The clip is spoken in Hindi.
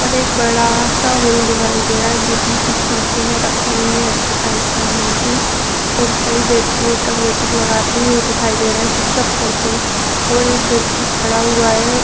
और एक बड़ा सा हॉल दिखाई दे रहा है जिसमें कुछ मशीने रखी हुई है एक्सरसाइज करने की और कई व्यक्ति उठक बैठक लगाते हुए दिखाई दे रहे हैं पुशअप करते हुए और एक व्यक्ति खड़ा हुआ है।